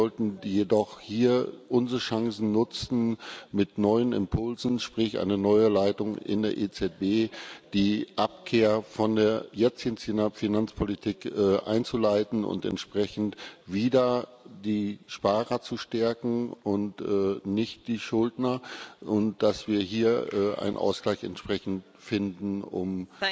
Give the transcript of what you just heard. Wir sollten jedoch hier unsere Chancen nutzen, mit neuen Impulsen, sprich einer neuen Leitung in der EZB, die Abkehr von der jetzigen Finanzpolitik einzuleiten und entsprechend wieder die Sparer zu stärken und nicht die Schuldner, und dass wir hier einen Ausgleich entsprechend finden, um